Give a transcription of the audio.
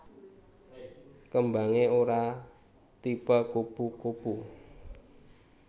Kembangé ora tipe kupu kupu